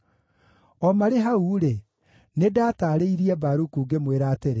“O marĩ hau-rĩ, nĩndataarĩirie Baruku, ngĩmwĩra atĩrĩ,